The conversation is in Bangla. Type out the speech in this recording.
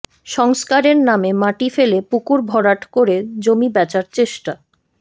সংস্কারের নামে মাটি ফেলে পুকুর ভরাট করে জমি বেচার চেষ্টা